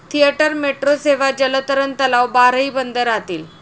Theatre, metro सेवा, जलतरण तलाव, बारही बंद राहतील.